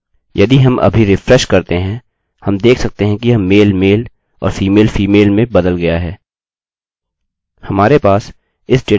यदि हम अभी रिफ्रेशrefresh करते हैंहम देख सकते हैं कि यह male male और female female में बदल गया है हमारे पास इस डेटा को दर्शाने के लिए कुछ रोचक तरीके भी हैं